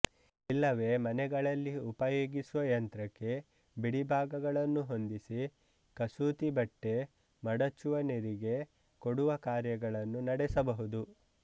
ಇಲ್ಲವೆ ಮನೆಗಳಲ್ಲಿ ಉಪಯೋಗಿಸುವ ಯಂತ್ರಕ್ಕೆ ಬಿಡಿಭಾಗಗಳನ್ನು ಹೊಂದಿಸಿ ಕಸೂತಿಬಟ್ಟೆ ಮಡಚುವನೆರಿಗೆ ಕೊಡುವ ಕಾರ್ಯಗಳನ್ನು ನಡೆಸಬಹುದು